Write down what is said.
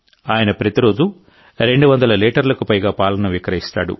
ఆయన ప్రతిరోజూ రెండు వందల లీటర్లకు పైగా పాలను విక్రయిస్తాడు